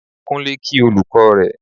Kunle kí olùkọ́ rẹ.